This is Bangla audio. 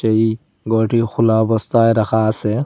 এই ঘরটি খোলা অবস্থায় রাখা আসে।